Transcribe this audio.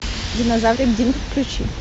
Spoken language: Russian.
динозаврик динк включи